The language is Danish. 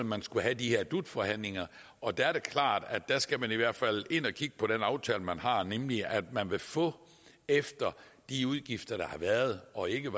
man skulle have de her dut forhandlinger og det er klart at der skal man i hvert fald ind og kigge på den aftale man har nemlig at man vil få efter de udgifter der har været og ikke